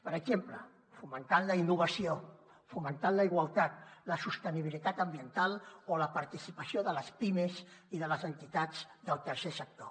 per exemple fomentant la innovació fomentant la igualtat la sostenibilitat ambiental o la participació de les pimes i de les entitats del tercer sector